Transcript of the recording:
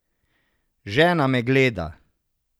Žena me gleda.